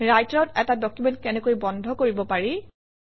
ৰাইটাৰত এটা ডকুমেণ্ট কেনেকৈ বন্ধ কৰিব পাৰি